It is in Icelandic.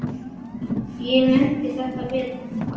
Ég nefndi þetta við hann.